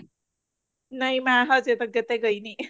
ਨਹੀਂ ਮੈਂ ਹਜੇ ਤੱਕ ਤਾਂ ਗਈ ਨੀ